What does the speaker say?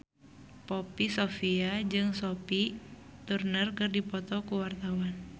Poppy Sovia jeung Sophie Turner keur dipoto ku wartawan